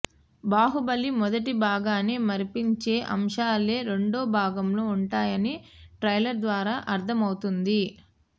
బాహుబలి మొదటి భాగాన్ని మరపించే అంశాలే రెండవ భాగంలో ఉంటాయని ట్రైలర్ ద్వారా అర్థమవుతోంది